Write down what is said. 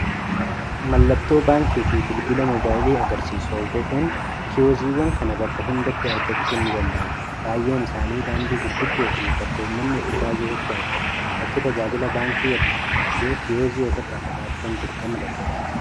mallattoo baankii fi bilbilaa mobaayilii agarsiiuu ordoofuun kiyooziiwwan kana bakka hundaatti argachuu ni dandamaa baay'een isaanii daandii gurguddoo fi bakka ummanni itti baay'eesutti argaamu bakki tajaajilaa baankii irraa fagaatee kiyoozii of irraa qabaachuu dirqama daldadaati